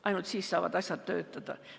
Ainult siis saavad asjad töötada.